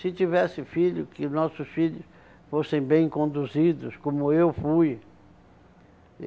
Se tivesse filho, que nossos filhos fossem bem conduzidos, como eu fui.